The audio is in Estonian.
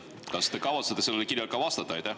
Kas te kavatsete sellele kirjale ka vastata?